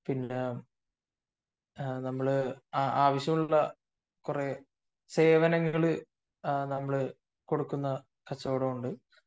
പിന്നെ നമ്മൾ ആവശ്യമുള്ള കുറെ സേവനങ്ങൾ കൊടുക്കുന്ന കച്ചവടമുണ്ട്